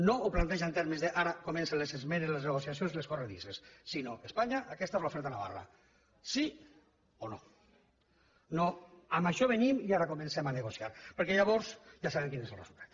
no ho planteja en termes d’ara comencen les esmenes les negociacions i les corredisses sinó espanya aquesta és l’oferta de navarra sí o no no amb això venim i ara comencem a negociar perquè llavors ja sabem quin és el resultat